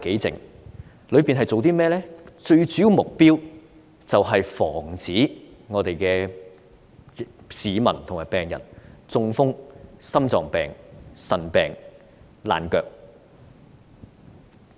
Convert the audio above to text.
最主要的目標是防止市民和病人中風、患心臟病、腎病和爛腳。